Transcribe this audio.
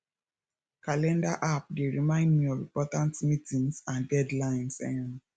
calendar app dey remind me of important meetings and deadlines um